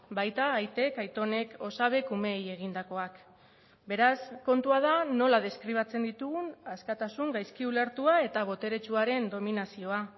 baita aitek aitonek osabek umeei egindakoak beraz kontua da nola deskribatzen ditugun askatasun gaizki ulertua eta boteretsuaren dominazioa